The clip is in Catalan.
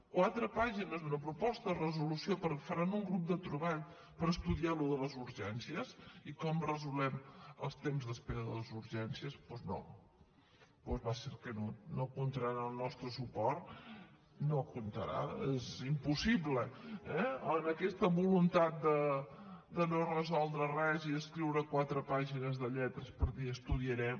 quatre pàgines d’una proposta de resolució que faran un grup de treball per estudiar el tema de les urgències i com resolem els temps d’espera de les urgències doncs no va a ser que no no comptaran amb el nostre suport no hi comptaran és impossible eh aquesta voluntat de no resoldre res i escriure quatre pàgines de lletres per dir estudiarem